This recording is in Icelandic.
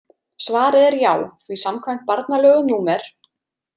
Svarið er já því samkvæmt barnalögum númer